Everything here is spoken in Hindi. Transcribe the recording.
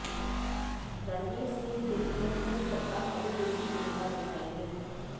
रणवीर सिंह फिल्म में पूर्व कप्तान कपिल देव की भूमिका निभाएंगे